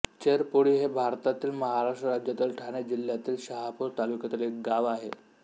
चेरपोळी हे भारतातील महाराष्ट्र राज्यातील ठाणे जिल्ह्यातील शहापूर तालुक्यातील एक गाव आहे